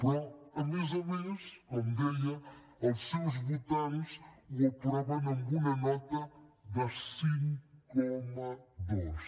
però a més a més com deia els seus votants ho aproven amb una nota de cinc coma dos